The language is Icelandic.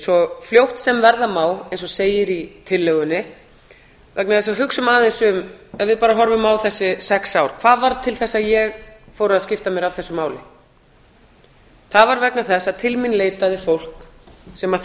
svo fljótt sem verða má eins og segir í tillögunni ef við honum bara aðeins á þessi sex ár hvað varð til þess að ég fór að skipta mér af þessu máli það var vegna þess að til mín leitaði fólk sem